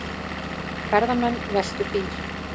Ferðamenn veltu bíl